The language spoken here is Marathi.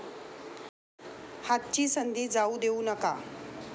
हातची संधी जाऊ देऊ नका.